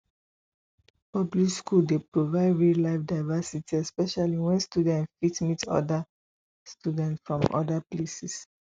public school dey provide real life diversity especially when students fit meet oda students from oda places